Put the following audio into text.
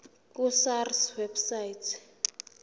ku sars website